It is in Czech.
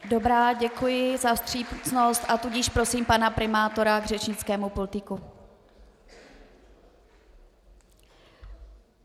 Dobrá, děkuji za vstřícnost, a tudíž prosím pana primátora k řečnickému pultíku.